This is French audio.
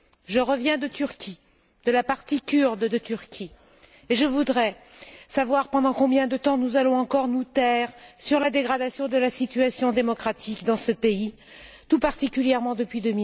Je reviens de Turquie, de la partie kurde de la Turquie, et je voudrais savoir pendant combien de temps nous allons encore nous taire sur la dégradation de la situation démocratique dans ce pays, tout particulièrement depuis